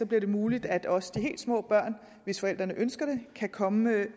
bliver det muligt at også de helt små børn hvis forældrene ønsker det kan komme